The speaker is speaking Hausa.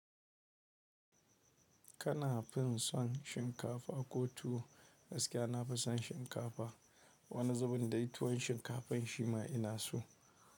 Kana fin son shinkafa ko tuwo gaskiya nafi son shinkafa. Wani zubin da tuwon shinkafan shi ma ina so.